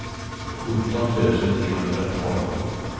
sjutton tusen trehundratolv